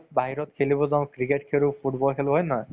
বাহিৰত খেলিব যাওঁ cricket খেলো football খেলো হয় নে নহয়